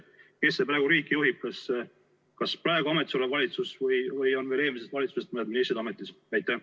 Kes praegu riiki juhib – kas praegu ametis olev valitsus või on veel eelmisest valitsusest mõned ministrid ametis?